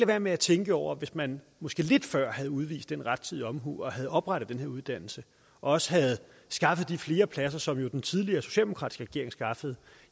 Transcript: være med at tænke over at hvis man måske lidt før havde udvist den rettidige omhu og havde oprettet den her uddannelse og også havde skaffet de flere pladser som jo den tidligere socialdemokratiske regering skaffede